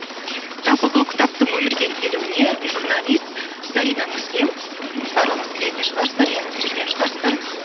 жалпы бұл кітаптың өмірге келуіне журналист зарина муслим м барлығыңыз білетін шығарсыздар естіп те жүрген шығарсыздар